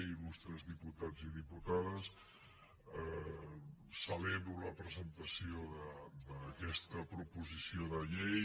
il·lustres diputats i diputades celebro la presentació d’aquesta proposició de llei